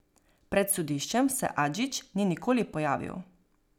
Pred sodiščem se Adžić ni nikoli pojavil.